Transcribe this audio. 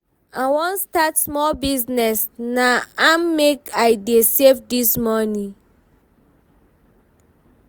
I wan start small business na im make I dey save dis moni.